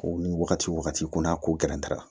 Ko ni wagati o wagati kun na ko gɛrɛtɛra